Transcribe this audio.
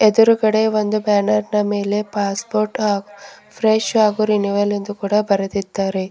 ಎದುರುಗಡೆ ಒಂದು ಬ್ಯಾನರ್ ನ ಮೇಲೆ ಪಾಸ್ಪೋರ್ಟ್ ಆ ಫ್ರೆಶ್ ಅಂಡ್ ರಿನಿವಲ್ ಎಂದು ಕೂಡ ಬರೆದಿದ್ದಾರೆ.